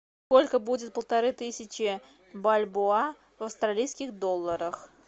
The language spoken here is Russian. сколько будет полторы тысячи бальбоа в австралийских долларах